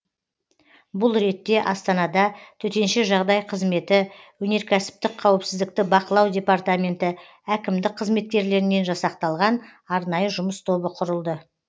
бұл ретте астанада төтенше жағдай қызметі өнеркәсіптік қауіпсіздікті бақылау департаменті әкімдік қызметкерлерінен жасақталған арнайы жұмыс тобы құрылды